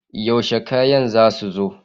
Yaushe kanyan za su zo?